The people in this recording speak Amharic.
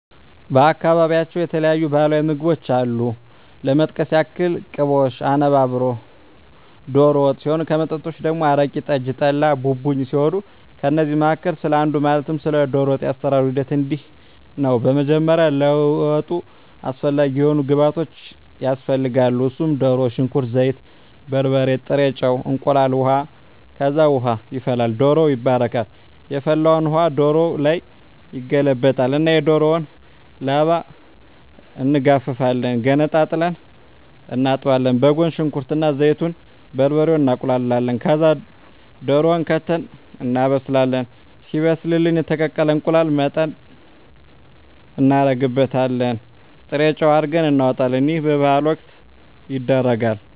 በአካባቢያቸው የተለያዩ ባህላዊ ምግቦች አሉ ለመጥቀስ ያክል ቅቦሽ፣ አነባበሮ፣ ዶሮ ወጥ ሲሆን ከመጠጦች ደግሞ አረቂ፣ ጠጅ፣ ጠላ፣ ቡቡኝ ሲሆኑ ከእነዚህ መካከል ስለ አንዱ ማለትም ስለ ዶሮ ወጥ የአሰራሩ ሂደት እንዲህ ነው በመጀመሪያ ለወጡ አስፈላጊ የሆኑ ግብዓቶች ያስፈልጋሉ እነሱም ድሮ፣ ሽንኩርት፣ ዘይት፣ በርበሬ፣ ጥሬ ጨው፣ እንቁላል፣ ውሀ፣ ከዛ ውሃ ይፈላል ዶሮው ይባረካል የፈላውን ውሀ ዶሮው ላይ ይገለበጣል እና የዶሮውን ላባ እንጋፍፋለን ገነጣጥለን እናጥባለን በጎን ሽንኩርት እና ዘይቱን፣ በርበሬውን እናቁላላለን ከዛ ድሮውን ከተን እናበስላለን ሲበስልልን የተቀቀለ እንቁላል ልጠን እናረግበታለን ጥሬጨው አርገን እናወጣለን ይህ በበዓል ወቅት ይደረጋል።